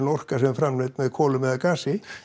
orka sem er framleidd með kolum eða gasi